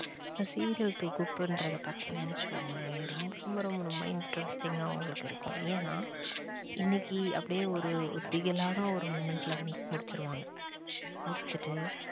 இப்ப serial தொகுப்புனுரத பாத்திங்கனு வச்சிகொங்களேன் ரொம்ப ரொம்ப ரொம்ப ரொம்ப interesting ஆ உங்களுக்கு இருக்கும் என்னா இன்னிக்கு அப்டியே ஒரு ஒரு திகிலான ஒரு moment ல வந்து முடிச்சிடுவாங்க. முடிச்சிட்டு